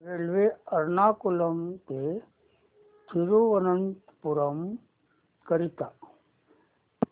railway Ernakulam ते थिरुवनंतपुरम करीता